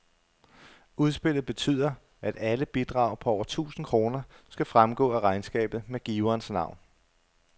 Udspillet betyder, at alle bidrag på over tusind kroner skal fremgå af regnskabet med giverens navn.